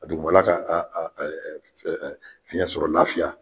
A dugumana ka fiyɛn fiyɛn sɔrɔ laafiya